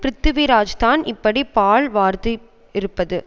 ப்ருதிவிராஜ்தான் இப்படி பால் வார்த்துஇருப்பது